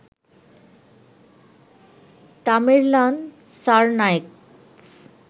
Tamerlan Tsarnaev